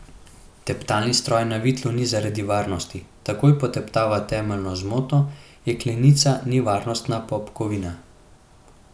Teptalni stroj na vitlu ni zaradi varnosti, takoj poteptava temeljno zmoto, jeklenica ni varnostna popkovina.